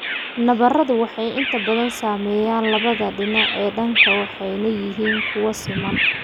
Nabaradu waxay inta badan saameeyaan labada dhinac ee daanka waxayna yihiin kuwo siman.